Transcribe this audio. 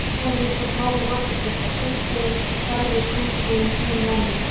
Svo sjáum við hvort málið vandist eitthvað, seinkunin verður sú sem hún verður.